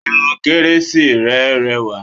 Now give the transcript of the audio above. Irun kérésì rẹ rẹwà